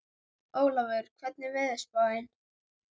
Ólafur, hvernig er veðurspáin?